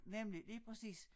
Nemlig lige præcis